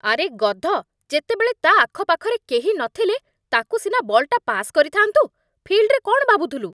ଆରେ ଗଧ, ଯେତେବେଳେ ତା' ଆଖପାଖରେ କେହି ନଥିଲେ, ତାକୁ ସିନା ବଲ୍‌ଟା ପାସ୍ କରିଥା'ନ୍ତୁ । ଫିଲ୍ଡରେ କ'ଣ ଭାବୁଥିଲୁ?